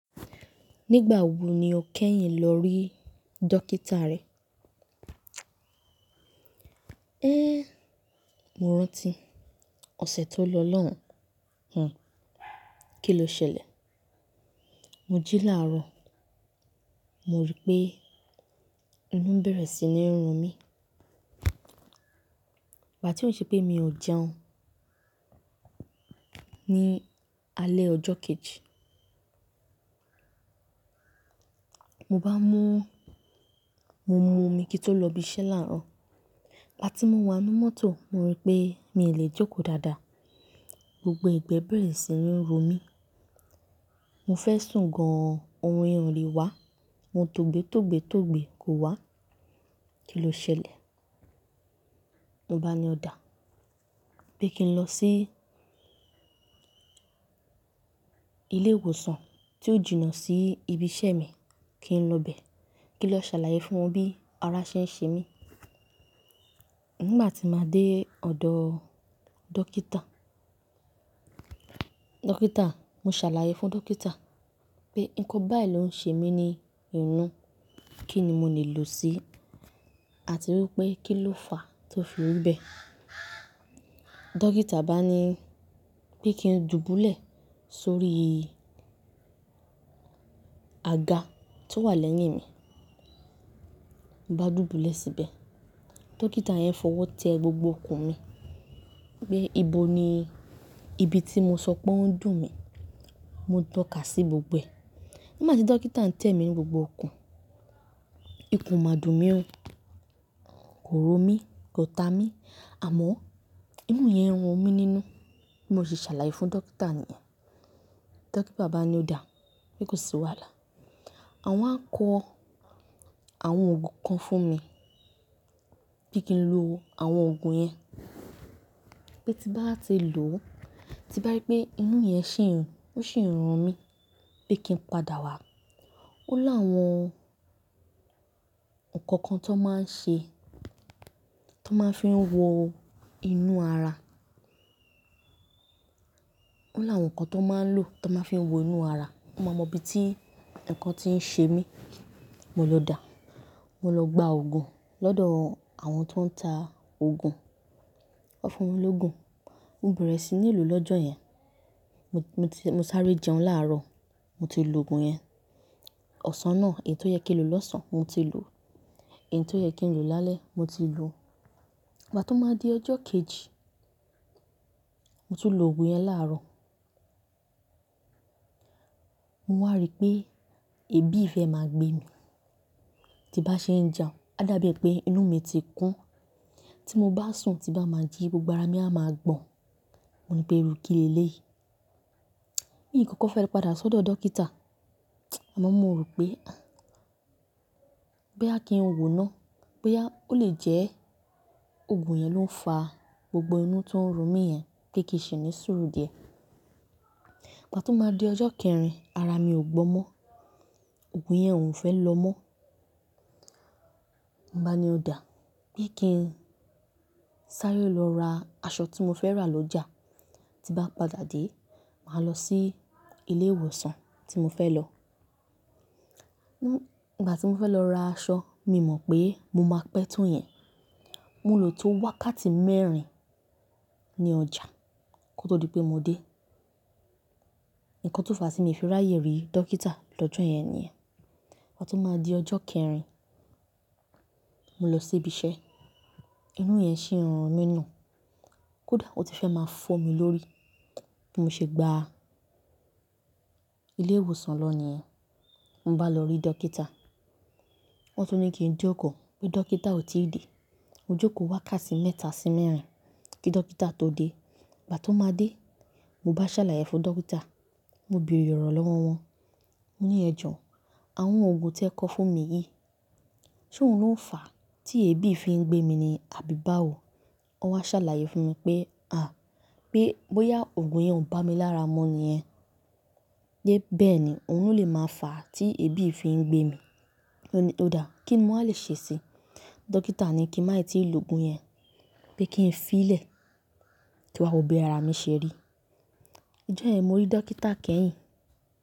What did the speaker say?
Nígbà wo ni o kẹ́yìn lọ rí dókítà rẹ? Ehn, mo rántí ọ̀sẹ̀ tó lọ lọ́hùn. Kí ló ṣẹlẹ̀? Mo jí láàárọ̀, mo rí pé inú ń bẹ̀rẹ̀ sí ní run mí. Ìgbà tí ó ṣe pé mi ò jẹun ní alẹ́ ọjọ́ kejì, mo bá mú, mo mú omi kí tó lọ ibi iṣẹ́ láàárọ̀. Ìgbà tí mo wá nnú mọ́tò, mo rí pé mi ò lè jókòó dáadáa. Gbogbo ẹ̀gbẹ́ bẹ̀rẹ̀ sí ní run mí. Mo fẹ́ sùn gan-an, oorun yẹn o lè wá. Mo tó gbé, tó gbé, tó gbé kò wá. Kí ló ṣẹlẹ̀? Mo bá ni ọ̀dà pé kí n lọ sí ilé ìwòsàn tí ó jìnà sí ibi iṣẹ́ mi, kí n lọ bẹ́ẹ̀ kí n lọ ṣàlàyé fún wọn bí ara ṣe ń ṣe mí. Nígbà tí màá dé ọ̀dọ̀ dókítà, dókítà, mo ṣàlàyé fún dókítà pé nǹkan báyìí ló ń ṣe mí ní inú, kí ni mo lè lò ó sí àti wípé kí ló fàá tó fi wí bẹ́ẹ̀. Dókítà bá mi ní pé kí n dùbúlẹ̀ sórí àga tó wà lẹ́yìn mi. Mo bá dùbúlẹ̀ síbẹ̀. Dókítà yẹn fọwọ́ tẹ gbogbo ikùn mi pé ibo ni ibi tí mo sọ pé ó ń dùn mí. Mo tọ́kà sí gbogbo ẹ̀. Nígbà tí dókítà ń tẹ mi ní gbogbo ikùn, ikùn o má dùn mí ó, kò ro mí, kò ta mí àmọ́ inú yẹn n run mí nínú. Mo sì ṣàlàyé fún dókítà níyẹn. Dókítà bá mi ní ọ̀dà pé kò sí wàhálà. Awọ́n a kọ àwọn òògùn kan fún mi pé kí n lo àwọn òògùn yẹn. Pé tí bá ti lò ó, tí bá rí pé inú yẹn ṣì n, ó sì ń run mí pé kí n padà wá. Ó lá àwọn nǹkan kan tó máa ń ṣe, tó máa fi ń wo inú ara. Ó lá àwọn nǹkan tó máa ń lò tó máa fi ń wo inú ara, wọ́n máa mọ ibi tí nǹkan ti ń ṣe mí. Mo lọ dà, mo lọ gba òògùn lọ́dọ̀ àwọn tó ń ta òògùn. Wọ́n fún mi lóògùn. Mo bẹ̀rẹ̀ sí ní lò ó lọ́jọ́ yẹn. Mo ti, mo sáré jẹun láàárọ̀, mo ti lò òògùn yẹn. Ọ̀sán náà èyí tó yẹ kí n lò lọ́sàn án mo ti lò, èyí tó yẹ kí n lò lálẹ́ mo ti lò. Ìgbà tó máa di ọjọ́ kejì, mo tún lò òògùn yẹn láàárọ̀. Mo wá rí pé ebi ìfẹ́ máa gbé mi tí bá ṣe ń jẹun. A dàbí e péí inú mi ti kún. Tí mo bá sùn, tí bá máa jí, gbogbo ara mí á máa gbọ̀n. Mo ní pé irù kí léléyìí. Nìyí kọ́kọ́ fẹ́ padà sódò dókítà àmọ́ mo rò pé, ah, bóyá kí n wòó ná, bóyá ó lè jẹ́ òògùn yẹn ló ń fàá gbogbo inú tó ń run mí yẹn pé kíì ṣì ní sùúrù díẹ̀. Ìgbà tó máa di ọjọ́ kẹrin, ara mi ò gbọ́n mọ́. Òògùn yẹn ò fẹ́ lọ mọ́. Mo bá ni ọ̀dà pé kí n sáré lọ ra aṣọ tí mo fẹ́ rà lọjà. Tí bá padà dé, màá lọ sí ilé ìwòsàn tí mo fẹ́ lọ. Nígbà tí mo fẹ́ lọ ra aṣọ, mi mọ̀ pé mo máa pẹ́ tó yẹn. Mo lò tó wákàtí mẹ́rin ní ọjà kó tó di pé mo dé. Ìkan tó fàá sí mi fi ráyè rí dókítà lọ́jọ́ yẹn nìyẹn. Ìgbà tó máa di ọjọ́ kẹrin, mo lọ sí ibi iṣẹ́. Inú yẹn ṣì run mí ná. Kódà ó ti fẹ́ máa fọ́ mi lórí tí mo ṣe gbá ilé ìwòsàn lọ níyẹn. Mo bá lọ rí dókítà. Wọ́n tó ní kí n jókòó pé dókítà ò tí ì dé. Mo jókòó wákàtí mẹ́ta sí mẹ́rin kí dókítà tó dé. Ìgbà tó máa dé, mo bá ṣàlàyé fún dókítà. Mo bèrè ọ̀rọ̀ lọ́wọ́ wọn. Mo ní ẹ jọ, àwọn òògùn tí ẹ kọ fún mi yìí, ṣé òun ló ń fàá tí ebi fi ń gbé mi ni àbí báwo? Wọ́n wá ṣàlàyé fún mi pé, à, pé bóyá òògùn yẹn ò bá mi lára mu nìyẹn, pé bẹ́ẹ̀ ni òun ló lè máa fàá tí ebi fi ń gbé mi. Mo ní ọ̀dà, kí ni mo lè ṣe sí i? Dókítà ní kí màá tì í lò òògùn yẹn, pé kí n fi í lẹ̀ kín wá wó bí ara mi ṣẹ́ rí. Ọjọ́ ẹ ní mo rí dókítà kẹ́yìn.